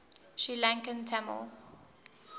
sri lankan tamil